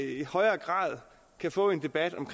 i højere grad kan få en debat om